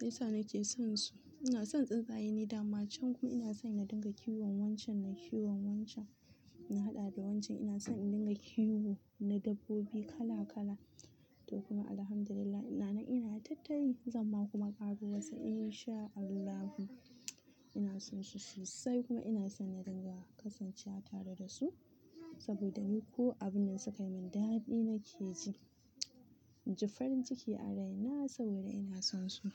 Yinsa nake sonsu. Ina son tsuntsaye ni da ma can kuma ina son na dinga kiwon wancan na kiwon wancan. Na haɗa da wancan ina son in dinga kiwo na dabbobi kala-kala. To kuma Alhamdulillah ina nan ina tattari, zan ma kuma karbuwarsa in sha Allahu. Ina sonsu sosai kuma ina son na dinga kasancewa tare da su saboda ni ko abun nan su kai min daɗi nake ji. Ji farin ciki a raina saboda ina sonsu.